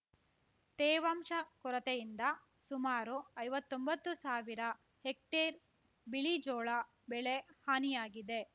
ತೇವಾಂಶ ಕೊರತೆಯಿಂದ ಸುಮಾರು ಐವತ್ತೊಂಬತ್ತು ಸಾವಿರ ಹೆಕ್ಟೇರ್ ಬಿಳಿಜೋಳ ಬೆಳೆ ಹಾನಿಯಾಗಿದೆ